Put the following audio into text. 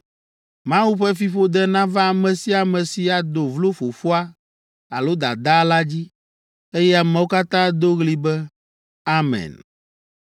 “Mawu ƒe fiƒode nava ame sia ame si ado vlo fofoa alo dadaa la dzi.” Eye ameawo katã ado ɣli be, “Amen!”